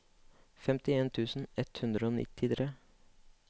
femtien tusen ett hundre og nittitre